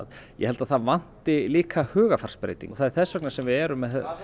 ég held að það vanti líka hugarfarsbreytingu og það er þess vegna sem við erum